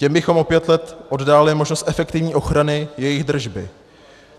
Těm bychom o pět let oddálili možnost efektivní ochrany jejich držby.